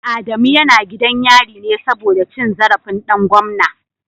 Adamu yana gidan yari ne saboda cin zarafin dan gwamna